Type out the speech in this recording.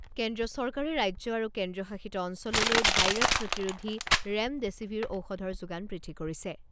কেন্দ্ৰীয় চৰকাৰে ৰাজ্য আৰু কেন্দ্ৰীয় শাসিত অঞ্চললৈ ভাইৰাছ প্ৰতিৰোধী ৰেমডেছিভিৰ ঔষধৰ যোগান বৃদ্ধি কৰিছে।